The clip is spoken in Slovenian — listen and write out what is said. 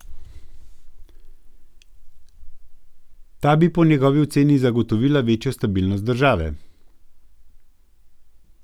Ta bi po njegovi oceni zagotovila večjo stabilnost države.